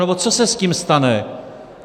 Nebo co se s tím stane?